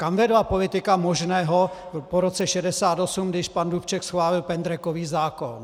Kam vedla politika možného po roce 1968, když pan Dubček schválil pendrekový zákon.